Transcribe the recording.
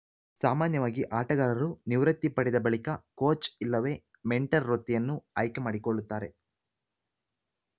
ಸಾಮಾನ್ಯವಾಗಿ ಆಟಗಾರರು ನಿವೃತ್ತಿ ಪಡೆದ ಬಳಿಕ ಕೋಚ್‌ ಇಲ್ಲವೇ ಮೆಂಟರ್‌ ವೃತ್ತಿಯನ್ನು ಆಯ್ಕೆ ಮಾಡಿಕೊಳ್ಳುತ್ತಾರೆ